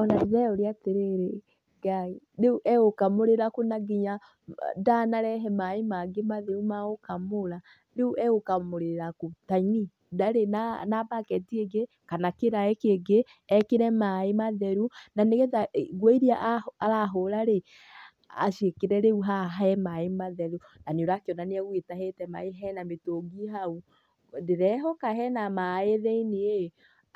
Ona ndĩreyũria atĩrĩrĩ, Ngai! Rĩu egũkamũrĩra kũ na ndanarehe maĩ mangĩ matheru ma gũkamũraRĩu egũkamũrĩra kũ.?Ta ini, ndarĩ na bucket ĩngĩ kana kĩraĩ kĩngĩ, ekĩre maĩ matheru. Na nĩ getha nguo iria arahũra rĩ, aciĩkĩre rĩu haha he maĩ matheru. Na nĩũrakĩona nĩagũgĩtahĩte maĩ he na mĩtũngi hau. Ndĩrehoka he na maĩ thĩiniĩ,